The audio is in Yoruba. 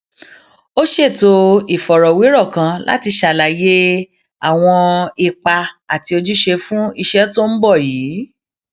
a ṣètò ìfọrọwérò kan láti ṣàlàyé àwọn ipa àti ojúṣe fún iṣẹ tó ń bò yìí